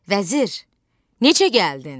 Vəzir, necə gəldin?